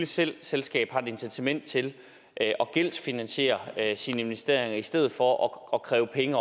selv selskab har et incitament til at gældsfinansiere sine investeringer i stedet for at kræve penge